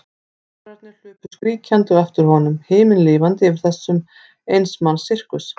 Tvíburarnir hlupu skríkjandi á eftir honum, himinlifandi yfir þessum eins manns sirkus.